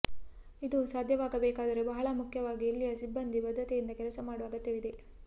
ಇದು ಸಾಧ್ಯವಾಗಬೇಕಾದರೆ ಬಹಳ ಮುಖ್ಯವಾಗಿ ಇಲ್ಲಿಯ ಸಿಬ್ಬಂದಿ ಬದ್ಧತೆಯಿಂದ ಕೆಲಸ ಮಾಡುವ ಅಗತ್ಯವಿದೆ